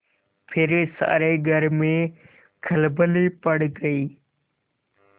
फिर सारे घर में खलबली पड़ गयी